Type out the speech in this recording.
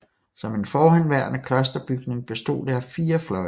Som en forhenværende klosterbygning bestod det af 4 fløje